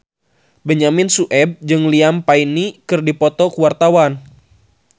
Benyamin Sueb jeung Liam Payne keur dipoto ku wartawan